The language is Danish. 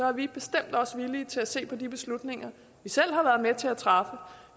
er vi bestemt også villige til at se på de beslutninger vi selv har